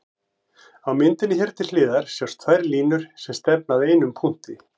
Á myndinni hér til hliðar sjást tvær línur sem stefna að einum punkti.